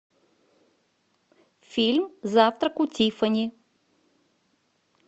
фильм завтрак у тиффани